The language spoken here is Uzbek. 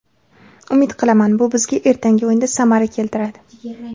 Umid qilaman, bu bizga ertangi o‘yinda samara keltiradi.